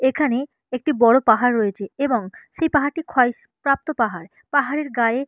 এখানে একটি বড় পাহাড় রয়েছে এবং সেই পাহাড় টি ক্ষয় সি প্রাপ্ত পাহাড় পাহাড়ের গায়ে--